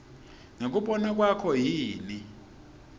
ngekubona kwakho yini